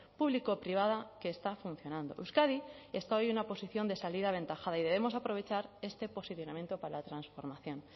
público privada que está funcionando euskadi está hoy en una posición de salida aventajada y debemos aprovechar este posicionamiento para la transformación